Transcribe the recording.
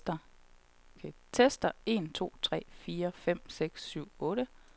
Tester en to tre fire fem seks syv otte.